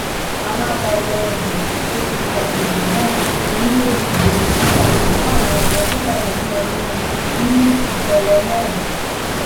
alága wọọdù apc àgbègbè náà onírèbù james atah wà lára àwọn tó pàdánù ẹmí wọn nínú ìṣẹlẹ náà